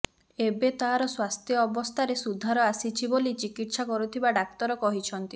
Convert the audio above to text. ଏବେ ତାର ସ୍ୱାସ୍ଥ୍ୟ ଅବସ୍ଥାରେ ସୁଧାର ଆସିଛି ବୋଲି ଚିକିତ୍ସା କରୁଥିବା ଡାକ୍ତର କହିଛନ୍ତି